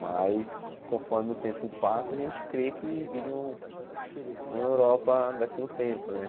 Mas, conforme o tempo passa, a gente crê que vire um uma Europa daqui a um tempo, né?